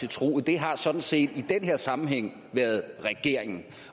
til truget det har sådan set i den her sammenhæng været regeringen